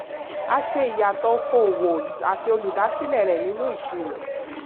a ṣe ìyàtọ̀ okò-òwò àti olùdásílẹ̀ rẹ̀ nínú ìṣirò.